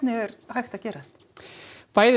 er hægt að gera